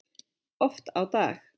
Oft á dag.